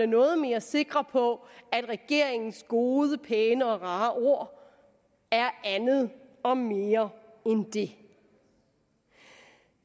noget mere sikre på at regeringens gode pæne og rare ord er andet og mere end det